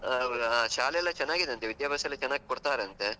ಅಹ್ ಶಾಲೆಯೆಲ್ಲ ಚನ್ನಾಗಿದೆ ಅಂತೆ, ವಿದ್ಯಾಭ್ಯಾಸ ಎಲ್ಲ ಚೆನ್ನಾಗಿ ಕೊಡ್ತಾರಂತೆ.